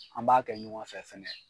An b'a kɛ ɲɔgɔn fɛ fɛnɛ.